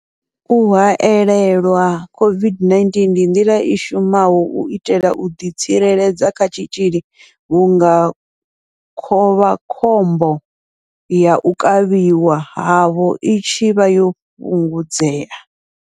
U haelelwa COVID-19 ndi nḓila i shumaho u itela u ḓi tsireledza kha tshitzhili vhunga khovhakhombo ya u kavhiwa havho i tshi vha yo fhungudzea.